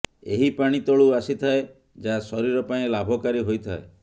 ଏହି ପାଣି ତଳୁ ଆସିଥାଏ ଯାହା ଶରୀର ପାଇଁ ଲାଭକାରୀ ହୋଇଥାଏ